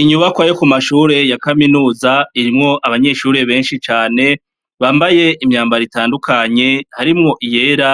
Inyubakwa yo ku mashure ya kaminuza irimwo abanyeshure benshi cane bambaye imyambaritandukanye harimwo iyera